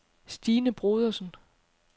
Stine Brodersen